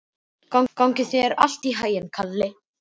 Gangi þér allt í haginn, Kalli.